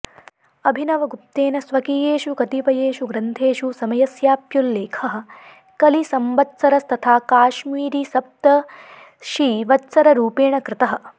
अभिनवगुप्तेन स्वकीयेषु कतिपयेषु ग्रन्थेषु समयस्याप्युल्लेखः कलिसम्बत्सरस्तथा काश्मीरीसप्तषिवत्सररूपेण कृतः